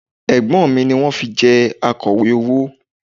Ẹ̀gbọ́n mi ni wọ́n fi jẹ Akọ̀wé owó